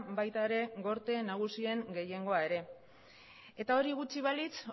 baita ere gorte nagusien gehiengoa ere eta hori gutxi balitz